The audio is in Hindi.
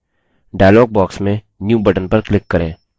डायलॉग बॉक्स में new बटन पर क्लिक करें